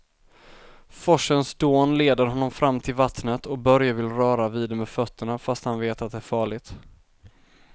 Forsens dån leder honom fram till vattnet och Börje vill röra vid det med fötterna, fast han vet att det är farligt.